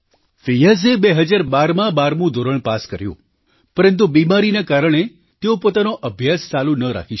ફિયાઝે 2012માં 12મું ધોરણ પાસ કર્યું પરંતુ બીમારીના કારણે તેઓ પોતાનો અભ્યાસ ચાલુ ન રાખી શક્યા